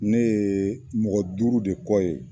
Ne ye mɔgɔ duuru de kɔ ye.